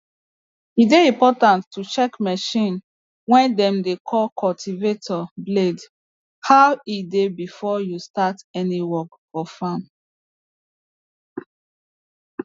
e dey important to check machine way dem dey call cultivator blade how e dey before you start any work for farm